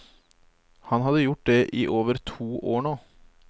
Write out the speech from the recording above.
Han hadde gjort det i over to år nå.